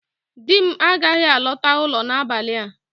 Di m agaghị alọta ụlọ n'abalị a